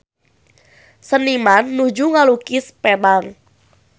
Seniman nuju ngalukis Penang